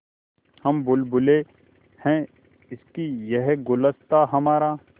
हम बुलबुलें हैं इसकी यह गुलसिताँ हमारा